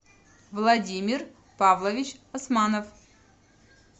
владимир павлович асманов